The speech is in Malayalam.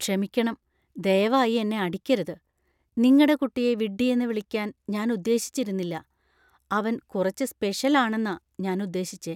ക്ഷമിക്കണം, ദയവായി എന്നെ അടിക്കരുത്. നിങ്ങടെ കുട്ടിയെ വിഡ്ഢിയെന്ന് വിളിക്കാൻ ഞാൻ ഉദ്ദേശിച്ചിരുന്നില്ല. അവൻ കുറച്ച് സ്പെഷ്യൽ ആണെന്ന ഞാൻ ഉദ്ദേശിച്ചെ.